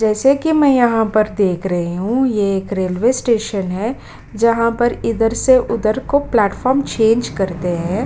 जैसे कि मैं यहाँ पर देख रही हूँ ये एक रेलवे स्टेशन है जहाँ पर इधर से उधर को प्लेटफॉर्म चेंज करते हैं।